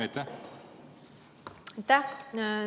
Aitäh!